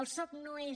el soc no és